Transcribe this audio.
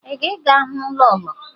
Ị ga-aga hụ lọọlọ?